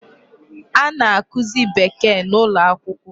A na-akụzị Bekee n'ụlọakwụkwọ.